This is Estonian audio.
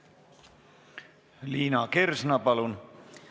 Liina Kersna, palun!